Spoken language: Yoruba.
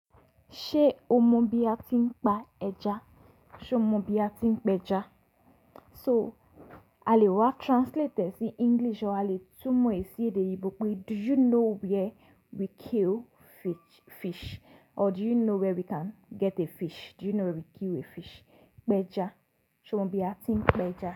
Ṣé o mọ bí a ti ń pa ẹja? Ṣe o mọ bí a ti ń pẹja? So a lè wa translate e si English or a lè túmọ̀ è sì èdè yii bó pé "Do you know where we kill fish or do you know where we can get a fish? Do you know where we kill a fish?" Pẹja, ṣe o mọ bí a ti ń pẹja?